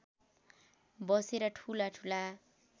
बसेर ठूला ठूला